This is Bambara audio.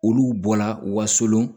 Olu bɔla wasolon